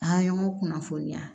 An ye ɲɔgɔn kunnafoniya